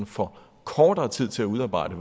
får kortere tid til at udarbejde